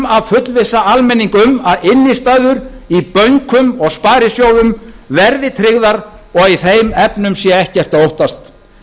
að fullvissa almenning um að innistæður í bönkum og sparisjóðum verði tryggðar og að í þeim efnum sé ekkert að óttast